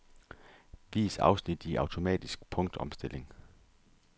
Vis afsnit i automatisk punktopstilling.